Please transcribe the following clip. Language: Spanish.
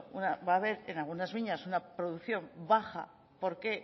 va a haber en algunas viñas una producción baja porque